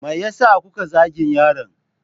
Me yasa kuka zagin yaron?